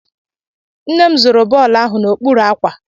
Nne m zoro bọọlụ ahụ n'okpuru àkwà.